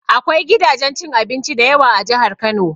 Akwai gidajen cin abinci dayawa a Jahar Kano